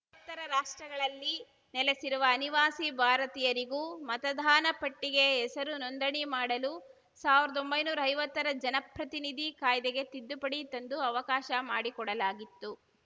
ತ್ತರ ರಾಷ್ಟ್ರಗಳಲ್ಲಿ ನೆಲೆಸಿರುವ ಅನಿವಾಸಿ ಭಾರತೀಯರಿಗೂ ಮತದಾನ ಪಟ್ಟಿಗೆ ಹೆಸರು ನೋಂದಣಿ ಮಾಡಲು ಸಾವ್ರ್ದೊಂಬೈ ನೂರಾ ಐವತ್ತರ ಜನಪ್ರತಿನಿಧಿ ಕಾಯ್ದೆಗೆ ತಿದ್ದುಪಡಿ ತಂದು ಅವಕಾಶ ಮಾಡಿಕೊಡಲಾಗಿತ್ತು